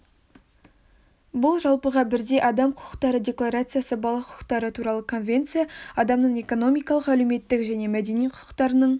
бұл жалпыға бірдей адам құқықтары декларациясы бала құқықтары туралы конвенция адамның экономикалық әлеуметтік және мәдени құқықтарының